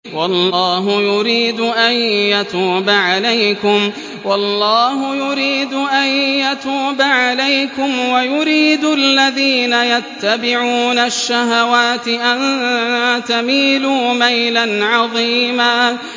وَاللَّهُ يُرِيدُ أَن يَتُوبَ عَلَيْكُمْ وَيُرِيدُ الَّذِينَ يَتَّبِعُونَ الشَّهَوَاتِ أَن تَمِيلُوا مَيْلًا عَظِيمًا